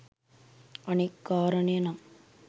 අනෙක් කාරණය නම්